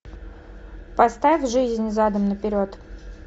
поставь жизнь задом наперед